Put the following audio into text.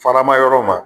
Farama yɔrɔ ma